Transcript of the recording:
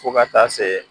Fo ka taa se